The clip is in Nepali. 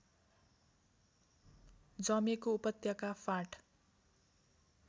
जमेको उपत्यका फाँट